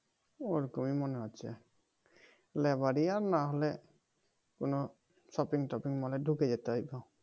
ওরকমই মনে হচ্ছে লেবারি আর না হলে কোনো shopping টপিং মল এ ঢুকে যেতে হইব।